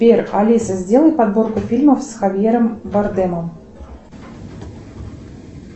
сбер алиса сделай подборку фильмов с хавьером бардемом